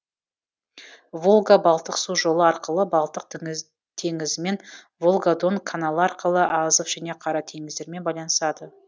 волга балтық су жолы арқылы балтық теңізімен волга дон каналы арқылы азов және қара теңіздермен байланысады